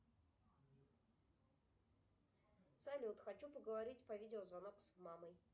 салют хочу поговорить по видеозвонок с мамой